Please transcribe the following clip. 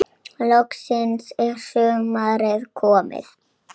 Loksins er sumarið komið.